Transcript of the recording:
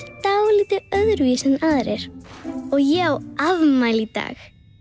dálítið öðruvísi en aðrir og ég á afmæli í dag